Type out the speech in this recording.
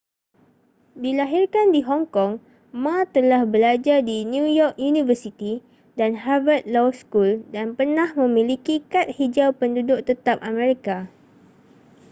dilahirkan di hong kong ma telah belajar di new york university dan harvard law school dan pernah memiliki kad hijau penduduk tetap amerika